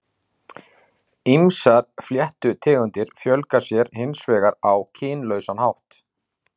Ýmsar fléttutegundir fjölga sér hins vegar á kynlausan hátt.